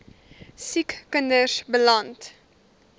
siek kinders beland